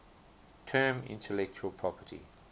term intellectual property